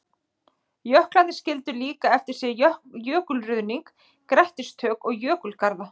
Jöklarnir skildu líka eftir sig jökulruðning, grettistök og jökulgarða.